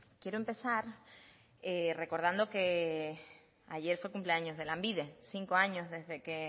quiero empezar recordando que ayer fue el cumpleaños de lanbide cinco años desde que